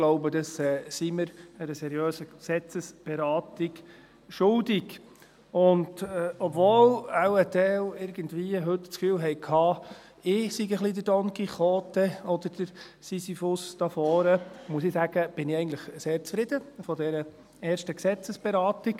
Ich glaube, das sind wir einer seriösen Gesetzesberatung schuldig, obwohl wahrscheinlich ein Teil heute das Gefühl hatte, ich sei ein wenig der Don Quijote oder der Sisyphus hier vorne, muss ich sagen: Ich bin eigentlich sehr zufrieden mit dieser ersten Gesetzesberatung.